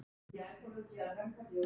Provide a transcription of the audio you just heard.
Við byrjum nýtt líf.